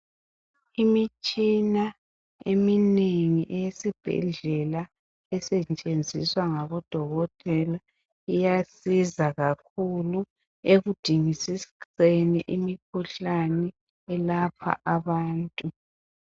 Imitshina eminengi eyesibhedlela esetshenziswa ngabodokotela iyasiza kakhulu ekudingisiseni imikhuhlane elapha abantu.